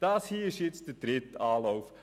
Dies hier ist der dritte Anlauf.